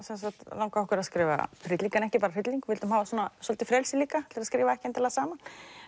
langaði okkur að skrifa hrylling en ekki bara hrylling vildum hafa svolítið frelsi líka til að skrifa ekki endilega saman